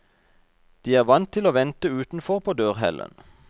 De er vant til å vente utenfor på dørhellen.